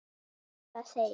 Satt að segja.